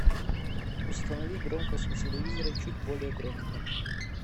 установи громкость на телевизоре чуть более громко